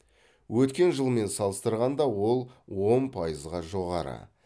өткен жылмен салыстырғанда ол он пайызға жоғары